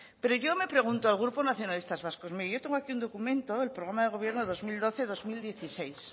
pero yo me pregunto al grupo nacionalistas vascos yo tengo aquí un documento programa de gobierno dos mil doce dos mil dieciséis